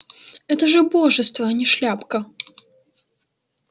это же убожество а не шляпка